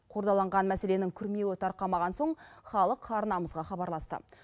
қордаланған мәселенің күрмеуі тарқамаған соң халық арнамызға хабарласты